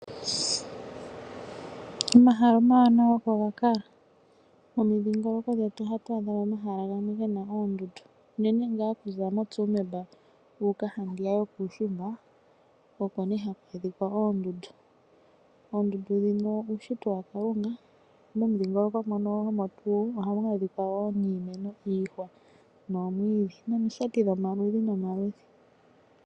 Omahala omawanawa oko ga kala. Momidhingoloko dhetu oha tu adhamo omahala gamwe gena oondundu, unene ngaa oku za moshomeya, wu uka handiya yo kuushimba, oko ne ha ku monika oondundu. Oondundu dhino iushitwa ya kalunga, momudhingoloko mono oha mu adhika wo iihwa, nomwiidhi nomination dhomaludhi nomaludhi.